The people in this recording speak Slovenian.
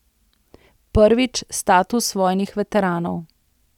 Prvič, status vojnih veteranov.